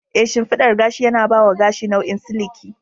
Ee, shimfiɗar gashi yana ba wa gashi nau'in siliki.